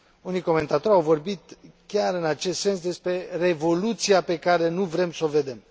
Unii comentatori au vorbit, în acest sens, despre revoluția pe care nu vrem să o vedem.